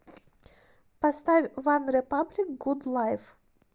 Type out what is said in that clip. поставь ванрепаблик гуд лайф